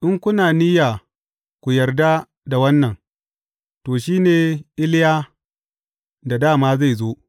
In kuna niyya ku yarda da wannan, to, shi ne Iliya da dā ma zai zo.